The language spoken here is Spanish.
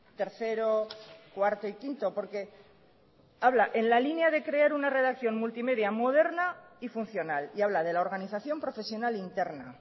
tercero cuarto y quinto porque habla en la línea de crear una redacción multimedia moderna y funcional y habla de la organización profesional interna